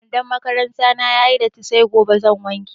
Wandon makaranta na ya yi datti sai gobe zan wanke.